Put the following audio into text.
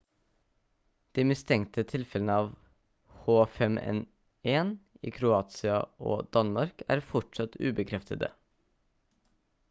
de mistenkte tilfellene av h5n1 i kroatia og danmark er fortsatt ubekreftede